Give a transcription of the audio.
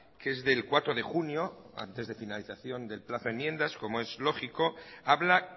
que es del cuatro de junio antes de finalización del plazo enmiendas como es lógico habla